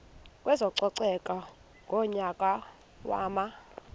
kwezococeko ngonyaka wama